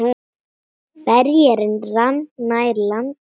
Ferjan rann nær landi.